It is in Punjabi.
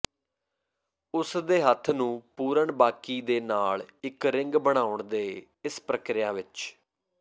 ਉਸ ਦੇ ਹੱਥ ਨੂੰ ਪੂਰਨ ਬਾਕੀ ਦੇ ਨਾਲ ਇੱਕ ਰਿੰਗ ਬਣਾਉਣ ਦੇ ਇਸ ਪ੍ਰਕਿਰਿਆ ਵਿਚ